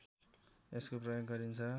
यसको प्रयोग गरिन्छ